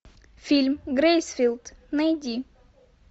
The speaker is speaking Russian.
фильм грейсфилд найди